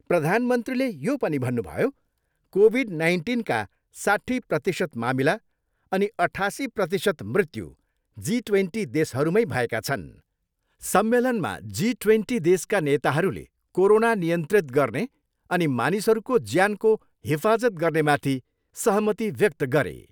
प्रधानमन्त्रीले यो पनि भन्नुभयो, कोभिड नाइन्टिनका साट्ठी प्रतिशत मामिला अनि अठासी प्रतिशत मृत्यु जी ट्वेन्टी देशहरूमै भएका छन्। सम्मेलनमा जी ट्वेन्टी देशका नेताहरूले कोरोना नियन्त्रित गर्ने अनि मानिसहरूको ज्यानको हिफाजत गर्नेमाथि सहमति व्यक्त गरे।